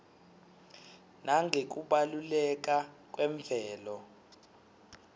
nangekubaluleka kwemvelo